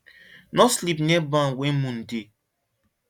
no sleep near barn when moon dey